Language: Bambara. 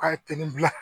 Ka teli